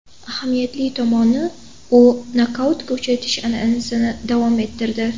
Ahamiyatli tomoni, u nokautga uchratish an’anasini davom ettirdi.